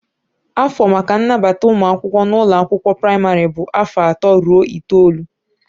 Afọ maka nnabata ụmụ akwụkwọ n'ụlọ akwụkwọ praịmarị bụ afọ atọ ruo itoolu.